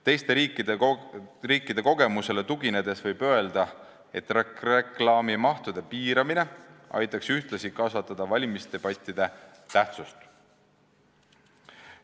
Teiste riikide kogemusele tuginedes võib öelda, et reklaamimahu piiramine aitaks ühtlasi kasvatada valimisdebattide tähtsust.